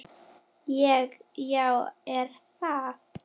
Ég: Já er það?